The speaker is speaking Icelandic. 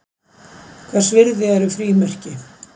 Hvers virði eru frímerki?